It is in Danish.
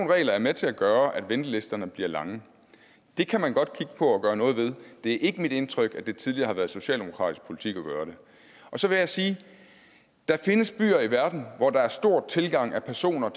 regler er med til at gøre at ventelisterne bliver lange det kan man godt kigge på at gøre noget ved det er ikke mit indtryk at det tidligere har været socialdemokratisk politik at gøre det så vil jeg sige at der findes byer i verden hvor der er stor tilgang af personer